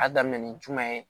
A daminɛ ni jumɛn ye